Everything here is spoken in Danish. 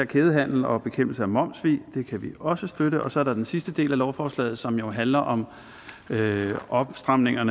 kædehandel og bekæmpelse af momssvig det kan vi også støtte så er der den sidste del af lovforslag som jo handler om opstramninger